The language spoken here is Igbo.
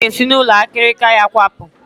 Ọ ga-esi n'ụlọ akịrịka ya kwapụ